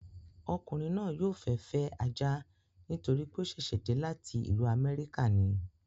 Ọkùnrin náà yóò fẹ́ fẹ́ ajá nítorí pé ó sẹ̀sẹ̀ dé láti ìlú amẹ́ríkà ni